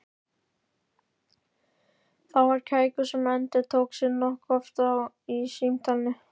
Það var kækur sem endurtók sig nokkuð oft í samtalinu.